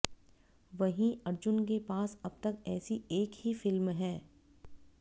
वहीं अर्जुन के पास अब तक ऐसी एक ही फिल्म है